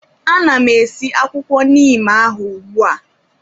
Ana m esi akwụkwọ neem ahụ ugbu a